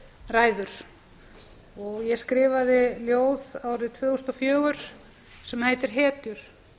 ræður ég skrifaði ljóð árið tvö þúsund og fjögur sem heitir hetjur